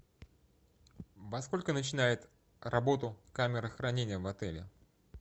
во сколько начинает работу камера хранения в отеле